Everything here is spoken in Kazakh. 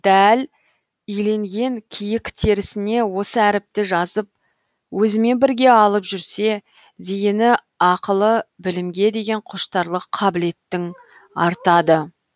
дәл иленген киік терісіне осы әріпті жазып өзімен бірге алып жүрсе зейіні ақылы білімге деген құштарлық қабілеттің артады